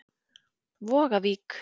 Vogavík